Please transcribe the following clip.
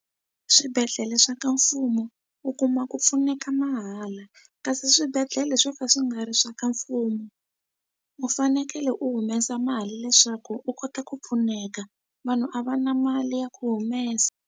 Swibedhlele swa ka mfumo u kuma ku pfuneka mahala kasi swibedhlele swo ka swi nga ri swa ka mfumo u fanekele u humesa mali leswaku u kota ku pfuneka vanhu a va na mali ya ku humesa.